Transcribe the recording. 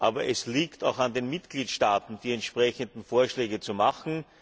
Aber es liegt auch an den Mitgliedstaaten, die entsprechenden Vorschläge zu machen.